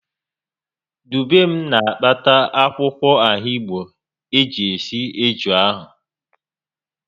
Dubem na-akpata akwụkwọ ahigbo iji sie eju ahụ